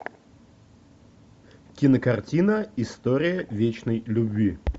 кинокартина история вечной любви